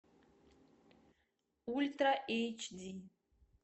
ультра эйч ди